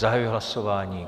Zahajuji hlasování.